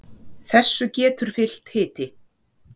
þessu getur fylgt hiti